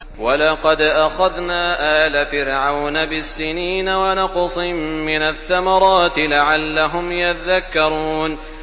وَلَقَدْ أَخَذْنَا آلَ فِرْعَوْنَ بِالسِّنِينَ وَنَقْصٍ مِّنَ الثَّمَرَاتِ لَعَلَّهُمْ يَذَّكَّرُونَ